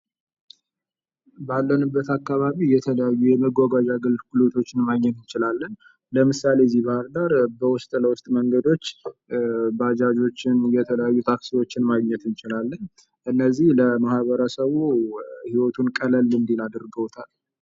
ባለንበት አካባቢ የተለያዩ የመጓጓዣ አገልግሎቶችን ማግኘት እንችላለን ። ምሳሌ እዚህ ባህር ዳር በውስጥ ለውስጥ መንገዶች ባጃጆችን ፣ የተለያዩ ታክሲዎችን ማግኘት እንችላለን ። እነዚህ ለማህበረሰቡ ህይወቱን ቀለል እንዲል አድርገውታል ።